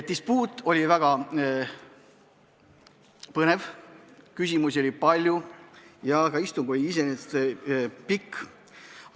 Dispuut oli väga põnev, küsimusi oli palju ja istung kujunes pikaks.